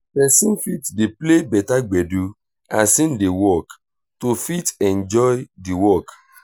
person fit dey play better gbedu as im dey work to fit enjoy di work